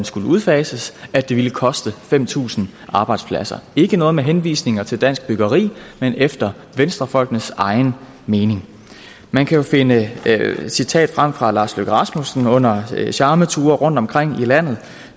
skulle udfases at det ville koste fem tusind arbejdspladser ikke noget med henvisninger til dansk byggeri men efter venstrefolkenes egen mening man kan finde et citat frem fra lars løkke rasmussen under charmeture rundtomkring i landet